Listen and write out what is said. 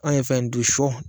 An ye fɛ in dun sɔ